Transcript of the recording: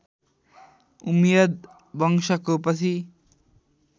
उम्मयद वंशको पछि